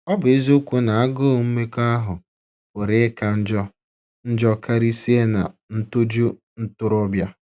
Ọ bụ eziokwu na agụụ mmekọahụ pụrụ ịka njọ njọ karịsịa ná “ ntoju ntorobịa. ”